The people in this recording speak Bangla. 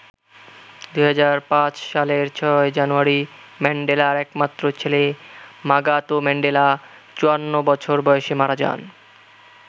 ২০০৫ সালের ৬ জানুয়ারি ম্যান্ডেলার একমাত্র ছেলে মাগাতো ম্যান্ডেলা ৫৪ বছর বয়সে মারা যান।